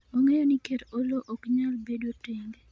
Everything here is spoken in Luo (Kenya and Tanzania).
ong'eyo ni ker Oloo ok nyal bedo tenge